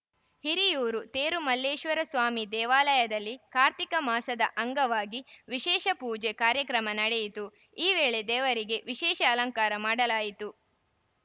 ಹಿರಿಯೂರು ತೇರುಮಲ್ಲೇಶ್ವರಸ್ವಾಮಿ ದೇವಾಲಯದಲ್ಲಿ ಕಾರ್ತಿಕ ಮಾಸದ ಅಂಗವಾಗಿ ವಿಶೇಷ ಪೂಜೆ ಕಾರ್ಯಕ್ರಮ ನಡೆಯಿತು ಈ ವೇಳೆ ದೇವರಿಗೆ ವಿಶೇಷ ಅಲಂಕಾರ ಮಾಡಲಾಯಿತು